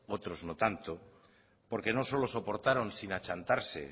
otros no tanto porque no solo soportaron sin achantarse